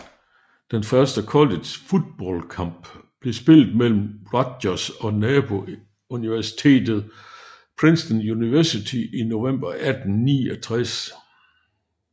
Den første college football kamp blev spillet mellem Rutgers og nabouniversitetet Princeton University i november 1869